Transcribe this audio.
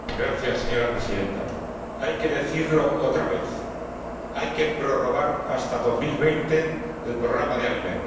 Señora Presidenta, hay que decirlo otra vez hay que prorrogar hasta 2020 el programa de alimentos.